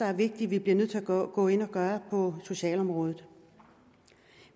er vigtigt at gå gå ind og gøre på socialområdet